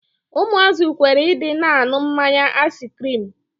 Ụmụazị kwere Ị dị na-aṅụ mmanya aiskirimu.